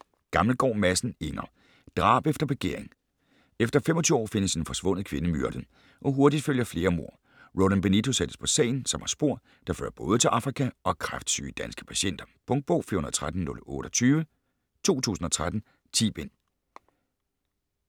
Gammelgaard Madsen, Inger: Drab efter begæring Efter 25 år findes en forsvundet kvinde myrdet, og hurtigt følger flere mord. Roland Benito sættes på sagen, som har spor, der fører både til Afrika og kræftsyge danske patienter. Punktbog 413028 2013. 10 bind.